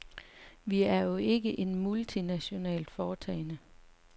Vi er jo ikke et multinationalt foretagende.